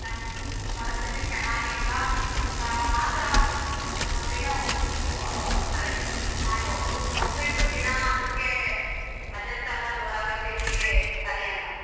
ನಮ್ ಪರಸ್ತಿತಿ ಚನಾಗಿಲ್ಲಾ ಅಂದಾಗ ಮಾತ್ರ ಒಂದಿನಾ ಸರಿ ಮಾಡ್ಬೊದು ಅದು ಬಿಟ್ಟು ದಿನಾ ಅದಕ್ಕೆ adjust ಆಗೋದ್ ಹೊರಗಡೆ ತಿಂಡಿಗೆ ಸರಿ ಅಲ್ಲಾ.